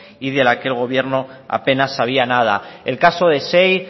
y de la que el gobierno apenas sabía nada el caso de xey